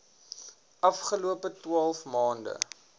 afgelope twaalf maande